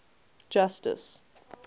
justice